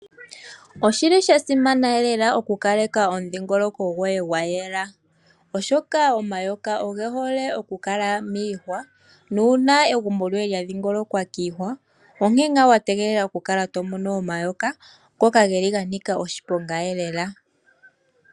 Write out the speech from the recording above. Oshili sha simana lela okukaleka omudhingoloko gwoye gwa yela. Oshoka omayoka oge hole okukala miihwa. Nuuna egumbo lyoye lya dhingolokwa kiihwa onkene ngaa wategelela okukala to mono omayoka ngoka geli ga nika oshiponga lela.